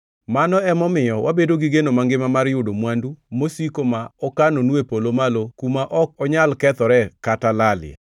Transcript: Mano emomiyo wabedo gi geno mangima mar yudo mwandu mosiko ma okanonu e polo malo kuma ok onyal kethore kata lalie.